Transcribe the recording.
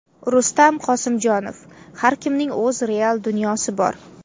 Rustam Qosimjonov: Har kimning o‘z real dunyosi bor.